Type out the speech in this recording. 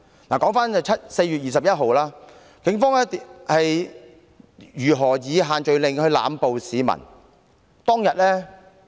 回頭說4月21日當天，警方如何以限聚令濫捕市民呢？